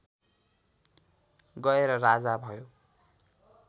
गएर राजा भयो